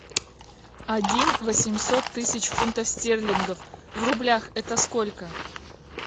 один восемьсот тысяч фунтов стерлингов в рублях это сколько